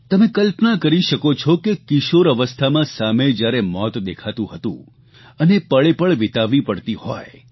તમે કલ્પના કરી શકો છો કે કિશોર અવસ્થામાં સામે જયારે મોત દેખાતું હતું અને પળેપળ વીતાવવી પડતી હોય